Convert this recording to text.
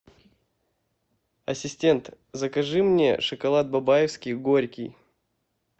ассистент закажи мне шоколад бабаевский горький